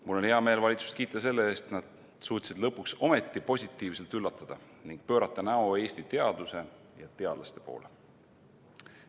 Mul on hea meel valitsust kiita selle eest, et nad suutsid lõpuks ometi positiivselt üllatada ning pöörata näo Eesti teaduse ja teadlaste poole.